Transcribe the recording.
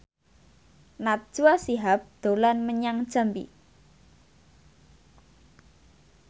Najwa Shihab dolan menyang Jambi